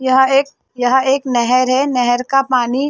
यहाँ एक यहाँ एक नहर है नहर का पानी --